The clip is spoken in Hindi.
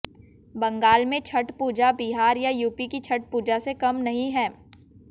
बंगाल में छठ पूजा बिहार या यूपी की छठ पूजा से कम नहीं है